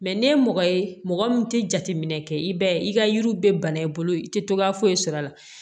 ni ye mɔgɔ ye mɔgɔ min tɛ jateminɛ kɛ i b'a ye i ka yiriw bɛ bana i bolo i tɛ togoya foyi sɔrɔ a la